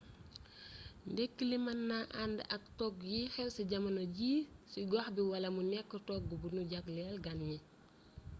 ndekki li mën na ànd ak togg yiy xew ci jamono ji ci gox bi wala mu nekk togg bu ñu jagleel gan ñi